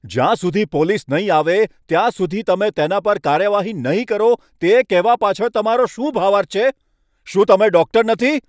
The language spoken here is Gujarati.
જ્યાં સુધી પોલીસ નહીં આવે ત્યાં સુધી તમે તેના પર કાર્યવાહી નહીં કરો તે કહેવા પાછળ તમારો શું ભાવાર્થ છે? શું તમે ડૉક્ટર નથી?